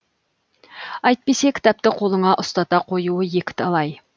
әйтпесе кітапты қолыңа ұстата қоюы екіталай